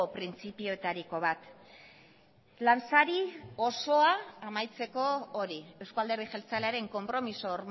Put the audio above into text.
printzipioetariko bat lansari osoa amaitzeko hori eusko alderdi jeltzalearen konpromiso